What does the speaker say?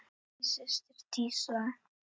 Þín systir Dísa.